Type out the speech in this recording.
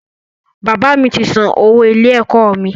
Bàbá mi ti san owó ilé-ẹ̀kọ́ mi.